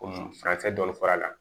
Komi furancɛ dɔn a la